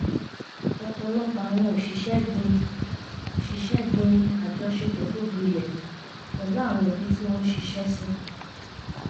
ọ̀pọ̀lọpọ̀ àwọn òṣìṣẹ́ gbin òṣìṣẹ́ gbin àjọṣepọ̀ tó gbilẹ̀ pẹ̀lú àwọn ẹbí tí wọ́n ṣiṣẹ́ sìn